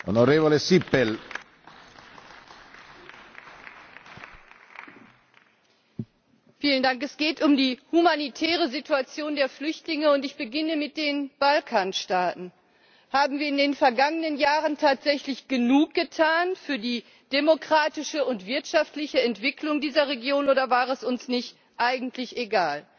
Herr Präsident! Es geht um die humanitäre Situation der Flüchtlinge, und ich beginne mit den Balkanstaaten. Haben wir in den vergangenen Jahren tatsächlich genug getan für die demokratische und wirtschaftliche Entwicklung dieser Region, oder war es uns nicht eigentlich egal?